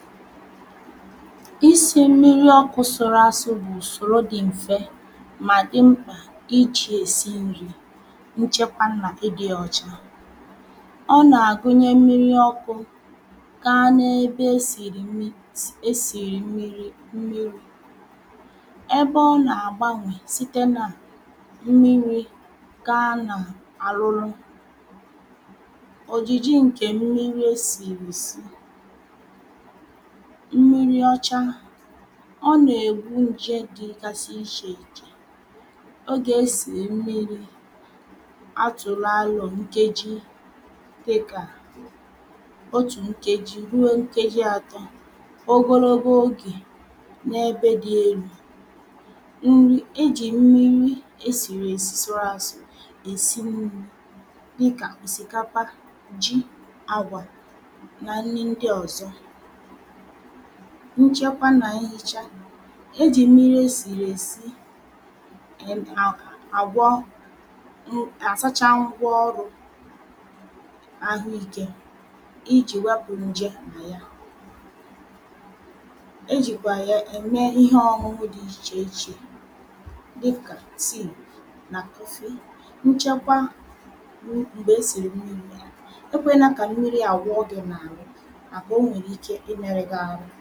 isi̇ mmiri ọkụ̇ sụrụ asụ bụ̀ ùsòro dị m̀fe mà dị mkpà iji̇ èsi nri̇ nchekwa nà ịdị̇ ọ̀cha ọ nà-àgụnye mmiri ọkụ̇ gaa n’ebe esìrì mmiri̇ esìrì mmiri̇ mmiri̇ ebe ọ nà-àgbanwè site nà mmiri̇ gaa nà-àrụrụ òjìjì ǹkè mmiri̇ esìrì esì mmiri ọcha ọ nà-ègbu ǹje dịgasị ichè ìchè ogè esìrì mmiri̇ atụ̀lụ̀ àlụ̀ nkeji dịkà otù nkeji, ruo nkeji atọ ogologo ogè n’ebe dị elu̇ nri e jì mmiri esìrì esì ȧsụ̀ èsi nri̇ dịkà òsìkapa, ji àgwà na nni ndị ọ̀zọ nchekwa nà ehicha ejì mmiri̇ esìrì èsi àgwọ àsacha ngwaọrụ̇ ahụikė ijì wepụ̀ nje mà yà ejìkwà ya ème ihe ọnwụnwụ dị ichè ichè dịkà tea nà coffee nchekwa m̀gbè esìrì mmiri̇ nà ya ekwe nà kà mmiri àwọ gi n'ahu maka o nwèrè ike imere gị ahụ